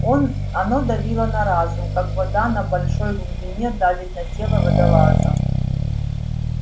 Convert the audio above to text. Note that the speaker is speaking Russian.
он оно давило на разум как вода на большой глубине давит на тело водолаза